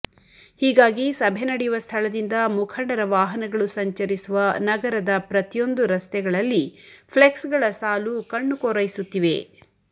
ಹೀಗಾಗಿ ಸಭೆ ನಡೆಯುವ ಸ್ಥಳದಿಂದ ಮುಖಂಡರ ವಾಹನಗಳು ಸಂಚರಿಸುವ ನಗರದ ಪ್ರತಿಯೊಂದು ರಸ್ತೆಗಳಲ್ಲಿ ಫ್ಲೆಕ್ಸ್ಗಳ ಸಾಲು ಕಣ್ಣು ಕೊರೈಸುತ್ತಿವೆ